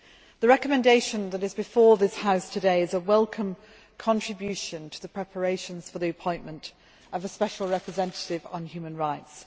The Recommendation that is before this House today is a welcome contribution to the preparations for the appointment of a Special Representative on Human Rights.